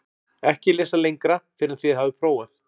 EKKI LESA LENGRA FYRR EN ÞIÐ HAFIÐ PRÓFAÐ